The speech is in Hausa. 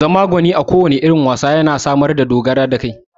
Zama gwani a kowanne irin wasa yana samar da dogaro da kai